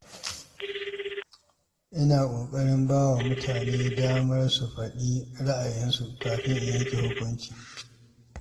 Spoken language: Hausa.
Ina ƙoƙarin ba wa mutane dama su faɗi ra’ayinsu kafin in yanke hukunci.